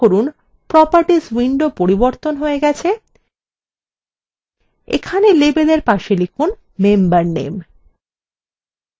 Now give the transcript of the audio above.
লক্ষ্য করুন properties window পরিবর্তন হয়ে গেছে এখানে labelএর পাশে লিখুনmember name